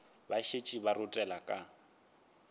ba šetše ba rothela ka